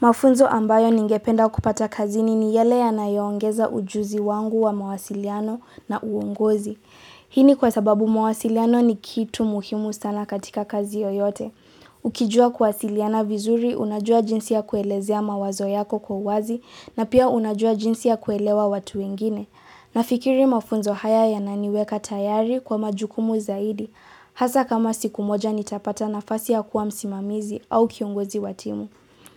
Mafunzo ambayo ningependa kupata kazini ni yale yanayo ongeza ujuzi wangu wa mawasiliano na uongozi. Hii ni kwa sababu mawasiliano ni kitu muhimu sana katika kazi yoyote. Ukijua kuwasiliana vizuri, unajua jinsi ya kuelezea mawazo yako kwa uwazi, na pia unajua jinsi ya kuelewa watu wengine. Nafikiri mafunzo haya yananiweka tayari kwa majukumu zaidi. Hasa kama siku moja nitapata nafasi ya kuwa msimamizi au kiongozi wa timu.